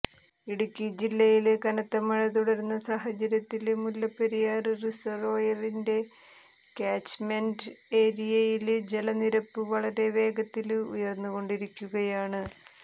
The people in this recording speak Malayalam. ഇടുക്കി ജില്ലയില് കനത്ത മഴ തുടരുന്ന സാഹചര്യത്തില് മുല്ലപ്പെരിയാര് റിസര്വോയറിന്റെ ക്യാച്മെന്റ് ഏരിയയില് ജല നിരപ്പ് വളരെ വേഗത്തില് ഉയര്ന്നുകൊണ്ടിരിക്കുകയാണ്